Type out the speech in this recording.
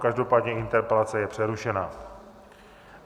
Každopádně interpelace je přerušena.